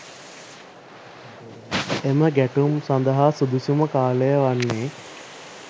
එම ගැටුම් සඳහා සුදුසුම කාලය වන්නේ